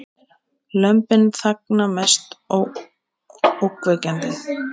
Lömbin þagna mest ógnvekjandi